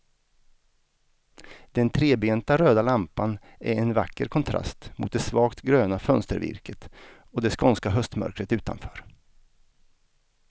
Den trebenta röda lampan är en vacker kontrast mot det svagt gröna fönstervirket och det skånska höstmörkret utanför.